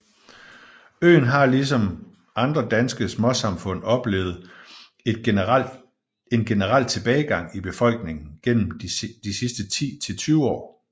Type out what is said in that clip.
Øen har ligesom andre danske småsamfund oplevet en generel tilbagegang i befolkningen gennem de sidste 10 til 20 år